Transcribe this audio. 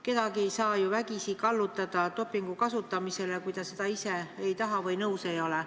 Kedagi ei saa ju vägisi kallutada dopingu kasutamisele, ta peab seda ka ise tahtma ja nõus olema.